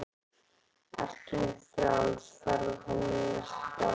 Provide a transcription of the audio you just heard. Ert þú frjáls ferða þinna næstu daga?